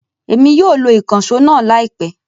Emi yóò lo ikanṣo náa laipẹ